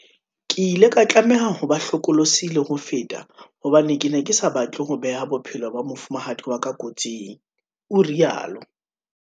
"Ke ile ka tlameha ho ba hlokolosi le ho feta hobane ke ne ke sa batle ho beha bophelo ba mofumahadi wa ka kotsing," o rialo.